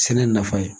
Sɛnɛ nafa ye